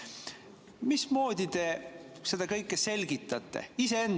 Mismoodi te seda kõike selgitate?